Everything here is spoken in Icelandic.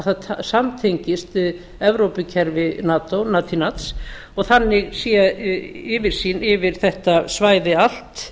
það samrýmist evrópukerfi nato natineads og þannig sé yfirsýn yfir þetta svæði allt